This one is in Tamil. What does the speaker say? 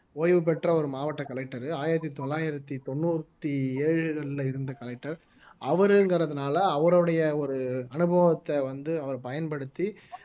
ஓய்வு பெற்ற ஒரு மாவட்ட collector ஆயிரத்தி தொள்ளாயிரத்தி தொண்ணூத்தி ஏழுகள்ல இருந்த collector அவருங்கிறதுனால அவருடைய ஒரு அனுபவத்தை வந்து அவர் பயன்படுத்தி